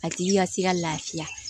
A tigi ka ti ka lafiya